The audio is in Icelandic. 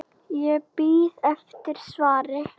Ég bíð eftir svari.